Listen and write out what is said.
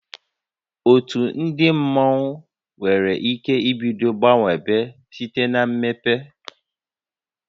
Otu ndị mmọnwu nwere ike ibido gbanwebe site na mmepe